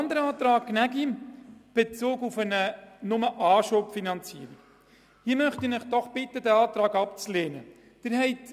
Zum Antrag Gnägi/BDP, wonach nur eine Anschubfinanzierung zu gewähren ist: Dieser Antrag wird ebenfalls zur Ablehnung empfohlen.